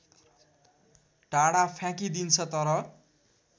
टाढा फ्याँकिदिन्छ तर